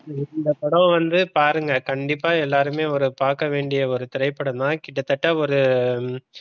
இந்த படம் வந்து பாருங்க கண்டிப்பா எல்லாருமே ஒரு பார்க்க வேண்டிய ஒரு திரைப்படம் தான் கிட்டத்தட்ட ஒரு